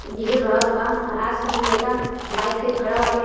Diesel भरावत बा। आस पास का लड़का बाइक पे खड़ा बाटे।